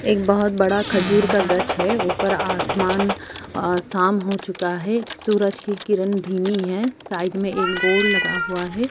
एक बहुत बड़ा खजूर का गझ है ऊपर आसमान अ शाम हो चूका है सुरज की किरन धीमी है साइड में एक बोर्ड लगा हुआ है।